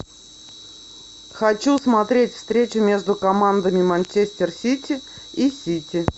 хочу смотреть встречу между командами манчестер сити и сити